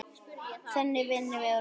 Þannig vinnum við úr málunum